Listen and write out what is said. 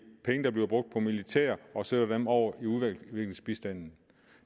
penge der bliver brugt på militæret og sender dem over til udviklingsbistanden i